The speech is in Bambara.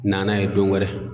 Na n'a ye don wɛrɛ.